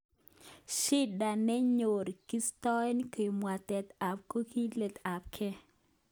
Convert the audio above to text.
Shida nenyon kistoe kabwatet ak kogilet ab ge.